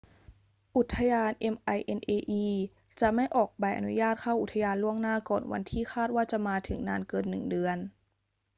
อุทยาน minae จถไม่ออกใบอนุญาตเข้าอุทยานล่วงหน้าก่อนวันที่คาดว่าจะมาถึงนานเกินหนึ่งเดือน